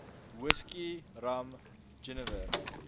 whisky rum jenewer